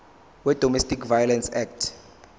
wedomestic violence act